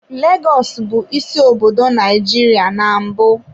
Lagos bụ isi obodo Nigeria na mbụ.